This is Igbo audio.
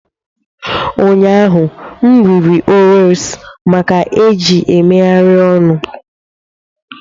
Ụnyaahụ, m riri Oreos maka eji megharịa ọnụ.